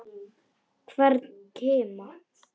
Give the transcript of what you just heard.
Hvern kima.